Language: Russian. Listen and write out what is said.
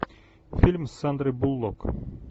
фильм с сандрой буллок